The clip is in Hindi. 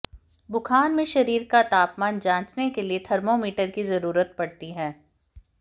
बुखार में शरीर का तापमान जांचने के लिए थर्मोमीटर की जरूरत पड़ती है